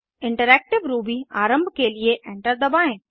interactive Ruby आरम्भ के लिए एंटर दबाएं